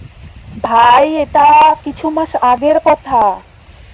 ভাই এটা কিছু মাস আগের কথা